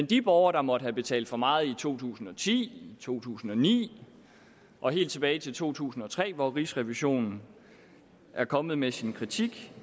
de borgere der måtte have betalt for meget i to tusind og ti i to tusind og ni og helt tilbage til to tusind og tre hvor rigsrevisionen er kommet med sin kritik